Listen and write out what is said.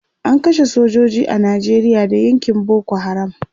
an kashe sojoji a Nijeria Da yakin Boko haram